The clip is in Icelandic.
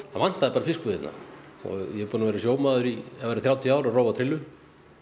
vantaði bara fiskbúð hérna og ég er búinn að vera sjómaður í að verða þrjátíu ár og rói á trillu